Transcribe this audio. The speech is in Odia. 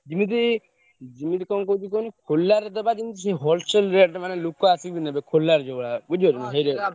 ଯିମିତି ଯିମିତି କଣ କହୁଛି କୁହନି ଖୋଲାରେ ଦବା ଜିନିଷକୁ wholesale rate ମାନେ ଲୋକ ଆସିକି ନେବେ ଖୋଲାରେ ଯୋଉଭଳିଆ ବୁଝିପାରୁଛ ।